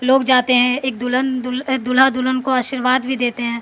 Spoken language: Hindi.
लोग जाते हैं एक दुल्हन दुल्हा दुल्हन को आशीर्वाद भी देते हैं।